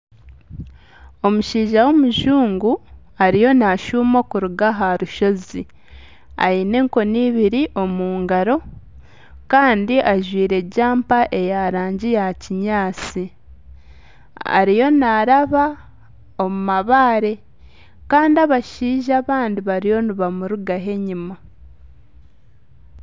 Omushaija w'omujungu ariyo naashuma okuruga aha rushozi aine enkoni ibiri omu ngaro, kandi ajwaire jampa eya rangi ya kinyaatsi, ariyo naaraba omu mabaare kandi abashaija abandi bariyo nibamurugaho enyuma.